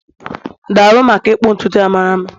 daalụ maka ịkpụ ntutu a mara mma